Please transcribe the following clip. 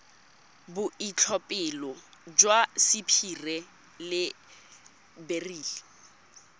boitlhophelo jwa sapphire le beryl